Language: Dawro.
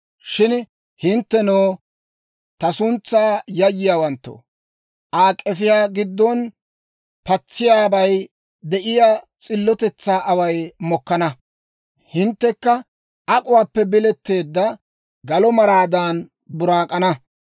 Shin hinttenttoo, ta suntsaw yayyiyaawanttoo Aa k'efiyaa giddon patsiyaabay de'iyaa s'illotetsaa away mokkana. Hinttekka ak'uwaappe biletteedda galo maraadan buraak'ana.